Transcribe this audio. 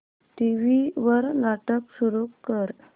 TV वर नाटक सुरू कर